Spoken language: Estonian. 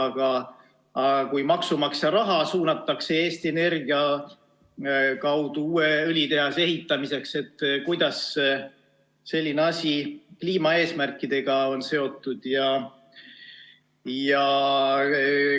Kui aga maksumaksja raha suunatakse Eesti Energia kaudu uue õlitehase ehitamiseks, siis kuidas selline asi kliimaeesmärkidega seotud on?